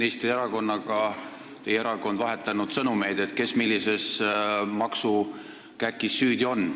Teie erakond on vahetanud nüüd tööministri erakonnaga sõnumeid, kes millises maksukäkis süüdi on.